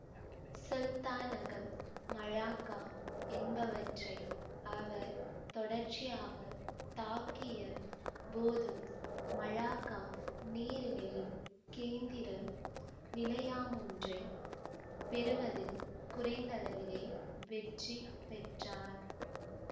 சுல்தானகம் மலாக்கா என்பவற்றை அவர் தொடர்ச்சியாகத் தாக்கிய போதும் மலாக்கா நீரிணையில் கேந்திர நிலையாமொன்றைப் பெறுவதில் குறைந்தளவிலே வெற்றி பெற்றார்